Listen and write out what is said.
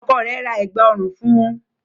Ọkọ rẹ̀ ra Ẹ̀gbá ọrùn fun